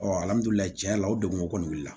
cɛn na o degun kɔni wili la